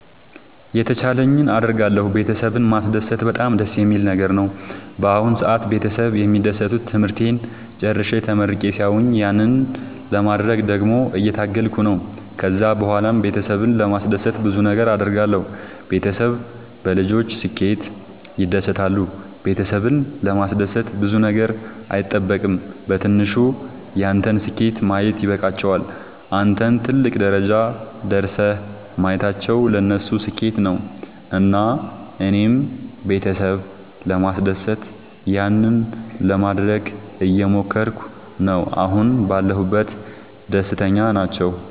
የተቻለኝን አደርጋለሁ ቤተሰብን ማስደሰት በጣም ደስ የሚል ነገር ነው። በአሁን ሰአት ቤተሰብ የሚደሰቱት ትምህርቴን ጨርሼ ተመርቄ ሲያዩኝ ያንን ለማድረግ ደግሞ እየታገልኩ ነው። ከዛ ብኋላም ቤተሰብን ለማስደሰት ብዙ ነገር አድርጋለሁ። ቤተሰብ በልጆች ስኬት ይደሰታሉ ቤተሰብን ለማስደሰት ብዙ ነገር አይጠበቅም በትንሹ ያንተን ስኬት ማየት ይበቃቸዋል። አንተን ትልቅ ደረጃ ደርሰህ ማየታቸው ለነሱ ስኬት ነው። እና እኔም ቤተሰብ ለማስደሰት ያንን ለማደረግ እየሞከርኩ ነው አሁን ባለሁበት ደስተኛ ናቸው።